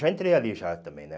Já entrei ali já também, né?